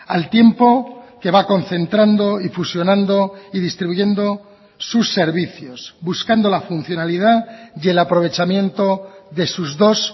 al tiempo que va concentrando y fusionando y distribuyendo sus servicios buscando la funcionalidad y el aprovechamiento de sus dos